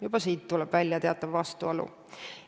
Juba siit tuleb välja teatav vastuolu.